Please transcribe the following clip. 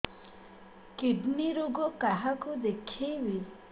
kidney ରୋଗ କାହାକୁ ଦେଖେଇବି